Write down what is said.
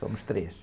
Somos três.